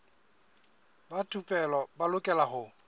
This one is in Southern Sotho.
ba thupelo ba lokela ho